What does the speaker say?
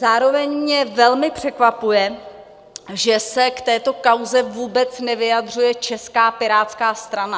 Zároveň mě velmi překvapuje, že se k této kauze vůbec nevyjadřuje Česká pirátská strana.